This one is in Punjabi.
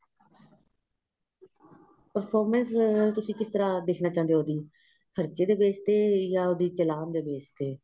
performance ਤੁਸੀਂ ਕਿਸ ਤਰ੍ਹਾਂ ਦੇਖਣਾ ਚਾਹੁੰਦੇ ਹੋ ਤੁਸੀਂ ਖਰਚੇ ਦੇ base ਤੇ ਜਾਂ ਚਲਾਉਣ ਦੇ base ਤੇ